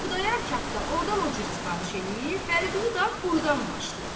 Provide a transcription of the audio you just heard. Xudayar katda ordan o cür sifariş eləyib, Vəliqulu da burdan başlayır.